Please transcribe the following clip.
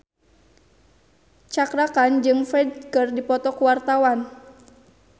Cakra Khan jeung Ferdge keur dipoto ku wartawan